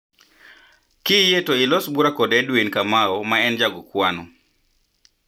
Kiyie to ilos bura kod Edwin Kamau ma en ja go kwano.